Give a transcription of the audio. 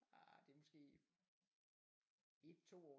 Ah det er måske 1 2 år